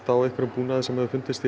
á einhverjum búnaði sem fundist